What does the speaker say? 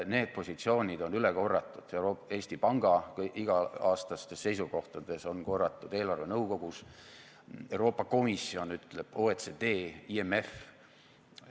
Need positsioonid on üle korratud Eesti Panga iga-aastastes seisukohtades, on korratud eelarvenõukogus, Euroopa Komisjon ütleb, OECD, IMF.